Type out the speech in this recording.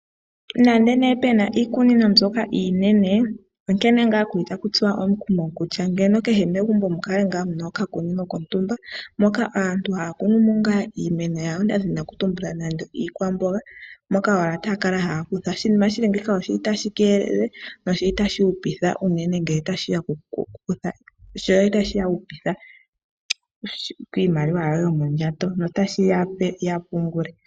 Nande pe na iikunino mbyoka iinene, onkene ngaa aantu ta ya tsuwa omukumo kutya ngeno kehe megumbo mukale ngaa muna okakunino kontumba moka aantu ha ya kunumo ngaa iimeno yawo ngaashi iikwamboga moka owala ta ya kala ha yakutha. Oshinima shili nge yi oshili ta shi keelele noshili ta shi hupitha unene ngele ta shiya koku hupitha iimaliwa yoye yomondjato no ta shi yape ya pungule.